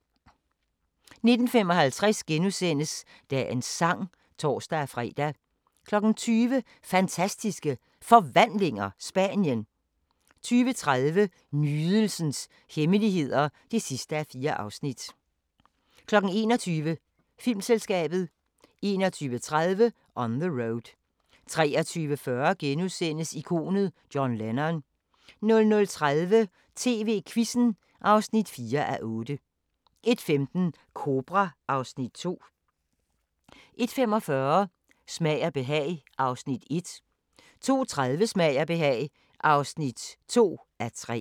19:55: Dagens sang *(tor-fre) 20:00: Fantastiske Forvandlinger – Spanien 20:30: Nydelsens hemmeligheder (4:4) 21:00: Filmselskabet 21:30: On the Road 23:40: Ikonet John Lennon * 00:30: TV-Quizzen (4:8) 01:15: Kobra (Afs. 2) 01:45: Smag og behag (1:3) 02:30: Smag og behag (2:3)